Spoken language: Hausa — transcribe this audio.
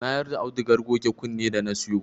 Na yarda audugar goge kunne da na siyo